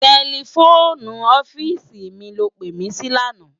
Tèlèfóni òfìsí mi ló pé mi si làná